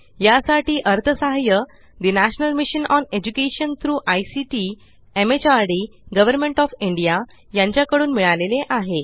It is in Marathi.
यासाठी अर्थसहाय्य the national mission on education through ICT MHRD government of India यांच्या कडून मिळाले आहे